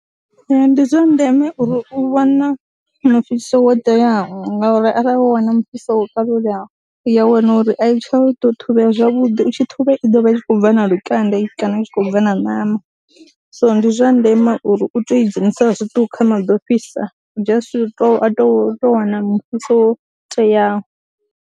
Ee, ndi zwa ndeme uri u wane mufhiso wo teaho ngauri arali wo wana mufhiso wo kalulaho u ya wana uri a i tsha u ḓo thusalea zwavhuḓi, i tshi ṱhuvhea i ḓo vha i khou bva na lukanda kana i tshi khou bva na ṋama, so ndi zwa ndeme uri u tou i dzhenisa zwiṱuku kha maḓi o fhisa, just a to to tou wana mufhiso wo teaho.